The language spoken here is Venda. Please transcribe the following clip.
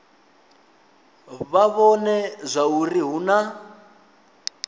vha vhone zwauri hu na